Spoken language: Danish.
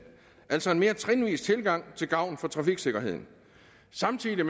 altså en mere trinvis tilgang til gavn for trafiksikkerheden samtidig